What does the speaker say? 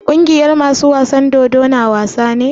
Kungiyar masu wasan dodo na wasa ne?